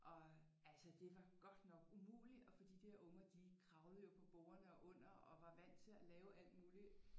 Og øh altså det var godt nok umulig at for de dér unger de kravlede jo på bordene og under og var vant til at lave alt muligt